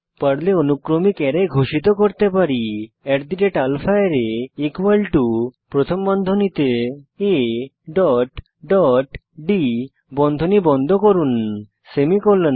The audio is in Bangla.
পর্লে অনুক্রমিক অ্যারে ঘোষিত করতে পারি আলফারে প্রথম বন্ধনীতে a ডট ডট d বন্ধনী বন্ধ করুন সেমিকোলন